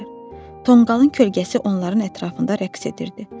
Tonqalın kölgəsi onların ətrafında rəqs edirdi.